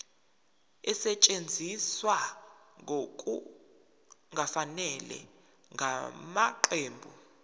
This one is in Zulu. esetshenziswe ngokungafanele ngamaqembu